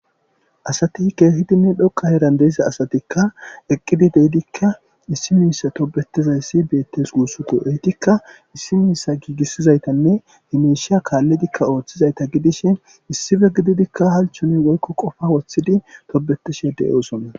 asati kehidinne dhoqa heeran de'iza asatikka eqqidi deidikka issi miissa tobetizayssi beettes guussuto eytikka issi miissa giigissizaytanne himeshiya kaalledikka ooththizayta gidishe issife gididikka halchuni woykko qofa woththidi tobetishe deyoosona